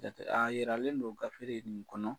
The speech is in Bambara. Jate aa yiralen do gafere nin kɔnɔ